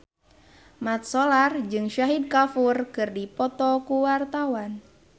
Mat Solar jeung Shahid Kapoor keur dipoto ku wartawan